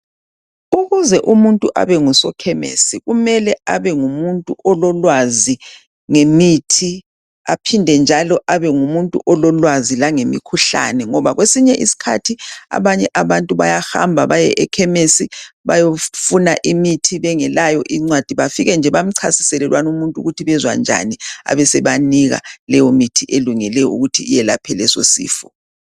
Ukuze umuntu abengusokhemesi, kumele abengumuntu ololwazi ngemithi, aphinde njalo abe ngumuntu ololwazi langemikhuhlane ngoba kwesinye isikhathi abanye abantu bayahamba baye ekhemisi bayofuna imithi bengelayo incwadi, bafike nje bemchasisele lwana umuntu ukuthi bezwa njani abe esebanika leyo mithi elungele ukuthi iyelaphe leso sifo.